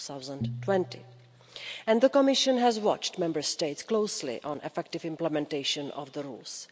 2020. And the Commission has watched Member States closely on effective implementation of the rules.